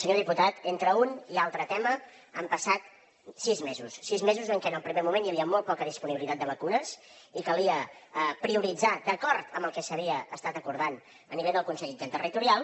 senyor diputat entre un i altre tema han passat sis mesos sis mesos en què en un primer moment hi havia molt poca disponibilitat de vacunes i calia prioritzar d’acord amb el que s’havia estat acordant a nivell del consell interterritorial